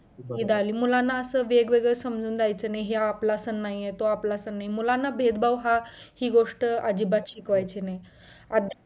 हे दाळीम मुलांना असं वेगवेगळे समजून द्दायच नाही, ह्यो आपला सण नाही आहे तो आपला सण नाही आहे मुलांना भेदभाव हा ही गोष्ट अजिबात शिकवायचे नाही